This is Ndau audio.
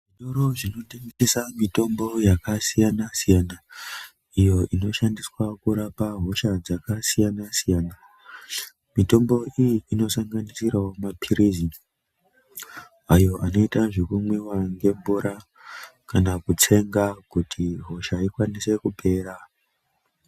Zvitoro zvinotengesa mitombo yakasiyana -siyana iyo inoshandiswa kurapa hosha dzakasiyana -siyana, mitombo iyi inosanganisira maphirizi ayo anoita zvekumwiwa nemvura kana kutsenga kuti hosha ikwanise kupera.